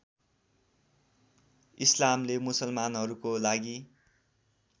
इस्लामले मुसलमानहरूको लागि